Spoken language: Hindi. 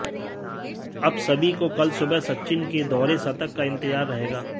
अब सभी को कल सुबह सचिन ते दोहरे शतक का इंतजार रहेगा